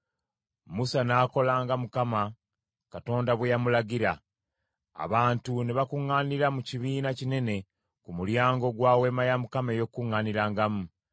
Musa n’akola nga Mukama Katonda bwe yamulagira; abantu ne bakuŋŋaanira mu kibiina kinene ku mulyango gwa Weema ey’Okukuŋŋaanirangamu.